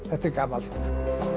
þetta er gamalt